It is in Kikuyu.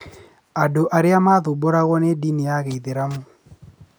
Andũ arĩa maathumbũragwo nĩ ndini ya gĩithĩramu